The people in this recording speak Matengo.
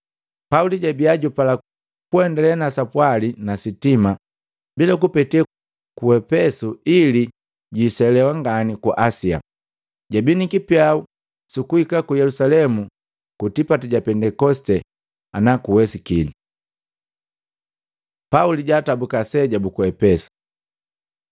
Pauli jabia jupala kuendale na sapwali nisitima bila kupete ku Epesu ili jwiiselewa ngani ku Asia. Jabii ni kipyau sukuhika ku Yelusalemu ku tipati ja Pendekosite ana kuwesikini. Pauli jaatabuka aseja buku Epesu